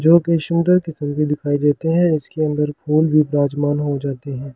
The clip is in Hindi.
जो कि सुंदर किसम की दिखाई देते है जिसके अंदर फूल भी विराजमान हो जाते है ।